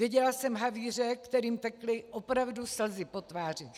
Viděla jsem havíře, kterým tekly opravdu slzy po tvářích.